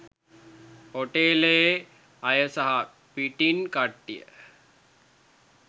හෝටලයේ අය හා පිටින් කට්ටිය